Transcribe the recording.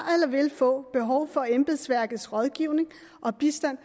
vil få behov for embedsværkets rådgivning og bistand